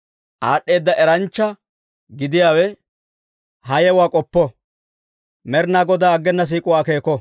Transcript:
Aad'd'eeda Eranchcha gidiyaawe ha yewuwaa k'oppo; Med'inaa Godaa aggena siik'uwaa akeeko.